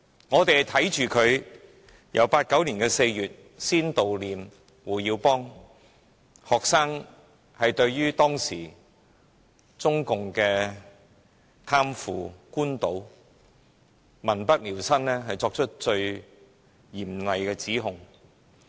我們看着學生最初在1989年4月悼念胡耀邦，對當時中共的貪腐、官倒、民不聊生，作出最嚴厲的指控。